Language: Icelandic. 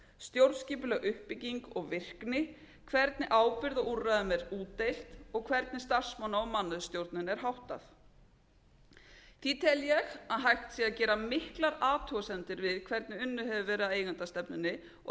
stjórnskipuleg uppbygging og virkni hvernig ábyrgð á úrræðum er útdeilt og hvernig starfsmanna og mannauðsstjórnun er háttað því tel ég að hægt sé að gera miklar athugasemdir við hvernig unnið hefur verið að eigendastefnunni og